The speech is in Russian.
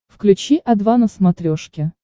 включи о два на смотрешке